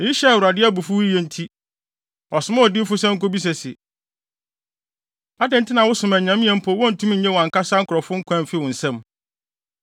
Eyi hyɛɛ Awurade abufuw yiye nti, ɔsomaa odiyifo sɛ onkobisa se, “Adɛn nti na wosom anyame a mpo wontumi nnye wɔn ankasa nkurɔfo nkwa mfi wo nsam?”